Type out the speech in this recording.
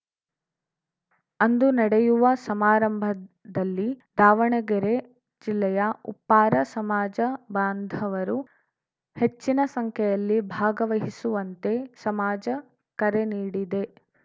ಅಂದು ನಡೆಯುವ ಸಮಾರಂಭದಲ್ಲಿ ದಾವಣಗೆರೆ ಜಿಲ್ಲೆಯ ಉಪ್ಪಾರ ಸಮಾಜ ಬಾಂಧ ವರು ಹೆಚ್ಚಿನ ಸಂಖ್ಯೆಯಲ್ಲಿ ಭಾಗವಹಿಸುವಂತೆ ಸಮಾಜ ಕರೆ ನೀಡಿದೆ